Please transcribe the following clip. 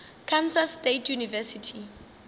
kansas state university